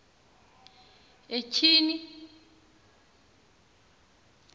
etyhini